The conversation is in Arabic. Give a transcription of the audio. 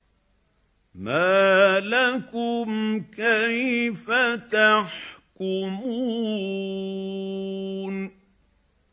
مَا لَكُمْ كَيْفَ تَحْكُمُونَ